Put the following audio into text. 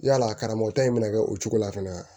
Yala karamɔgɔ ta in be na kɛ o cogo la fɛnɛ